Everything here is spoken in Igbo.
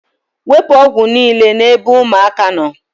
Wepu ọgwụ niile n'ebe ụmụaka nọ